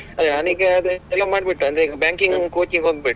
ಅದೆ ನಾನೀಗ ಅದೇ ಮಾಡ್ಬಿಟ್ಟೆ ಅಂದ್ರೆ ಈಗ banking coaching ಹೋಗ್ಬೇಕು.